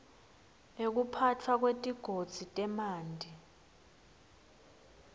ekuphatfwa kwetigodzi temanti